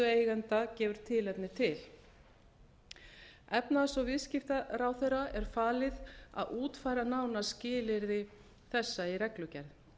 eigenda gefur tilefni til efnahags og viðskiptaráðherra er falið að útfæra nánar skilyrði þessa í reglugerð